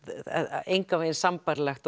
er engan veginn sambærilegt